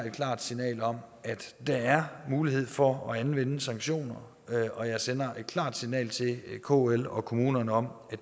et klart signal om at der er mulighed for at anvende sanktioner og jeg sender et klart signal til kl og kommunerne om